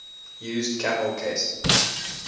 used camel case